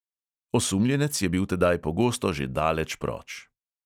Osumljenec je bil tedaj pogosto že daleč proč.